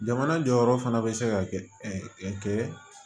Jamana jɔyɔrɔ fana bɛ se ka kɛ kɛ